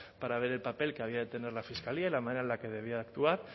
para ver el papel que había de tener la fiscalía y la manera en la que debía de actuar